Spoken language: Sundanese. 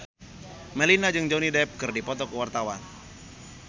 Melinda jeung Johnny Depp keur dipoto ku wartawan